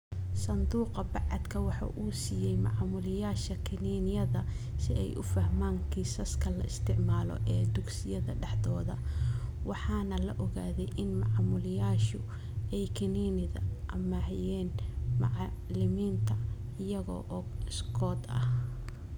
Sanduuqa bacaadka waxa uu siisay maamulayaasha kiniiniyada si ay u fahmaan kiisaska la isticmaalo ee dugsiyada dhexdooda waxaana la ogaaday in maamulayaashu ay kiniinada amaahiyeen macalimiinta iyaga oo iskood ah.